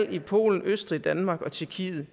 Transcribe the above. at i polen østrig danmark og tjekkiet